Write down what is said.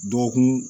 Dɔgɔkun